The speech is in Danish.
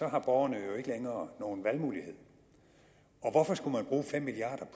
har borgerne jo ikke længere nogen valgmulighed hvorfor skulle man bruge fem milliard